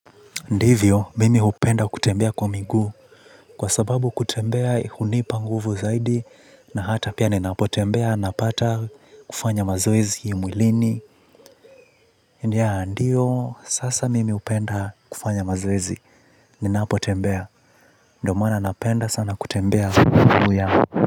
Ndivyo mimi hupenda kutembea kwa miguu kwa sababu kutembea hunipa nguvu zaidi na hata pia ninapotembea napata kufanya mazoezi hii mwilini ya ndiyo sasa mimi hupenda kufanya mazoezi ninapotembea ndo maana napenda sana kutembea huu ya.